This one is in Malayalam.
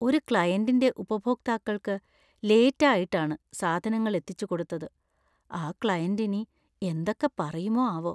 ഒരു ക്ലയന്റിൻ്റെ ഉപഭോക്താക്കൾക്ക് ലേറ്റ് ആയിട്ടാണ് സാധനങ്ങൾ എത്തിച്ചുകൊടുത്തത്; ആ ക്ലയന്റ് ഇനി എന്തൊക്കെ പറയുമോ ആവോ.